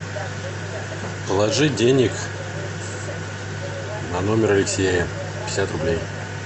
положи денег на номер алексея пятьдесят рублей